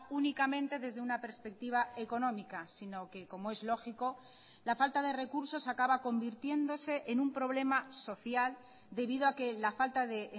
únicamente desde una perspectiva económica sino que como es lógico la falta de recursos acaba convirtiéndose en un problema social debido a que la falta de